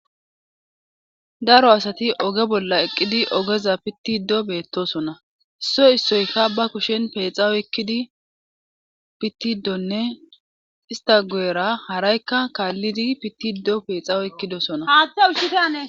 Daro asati oge bolla eqqidi ogeza pittido beettosona isso issoyka ba kushen peexawo ekkidi pittidonne istagoera haraykka kaallidi pittido peexawo ekkidosona.